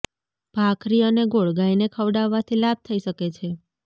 ભાખરી અને ગોળ ગાયને ખવડાવવાથી લાભ થઈ શકે છે